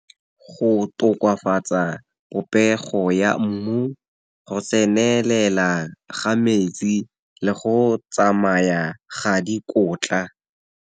Go tokafatsa popego ya mmu, go tsenelela ga metsi le go tsamaya ga dikotla.